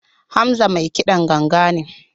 Hamza mai kidan ganga ne.